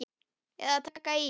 Eða taka í.